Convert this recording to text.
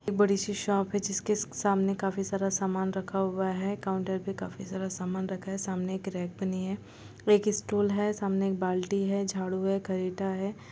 बड़ी सी शॉप है जिसके सामने काफी सारा सामान रखा हुआ है। काउंटर पे काफी सारा सामान रखा है। सामने एक रैक बनी है एक स्टूल है। सामने एक बाल्टी है झाड़ू है करीता है।